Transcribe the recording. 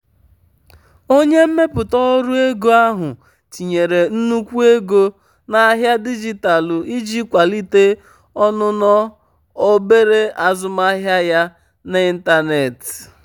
onye mmepụta ọrụ ego ahụ tinyere nnukwu um ego um n'ahịa dijitalụ iji kwalite ọnụnọ obere azụmaahịa ya n'ịntanetị. um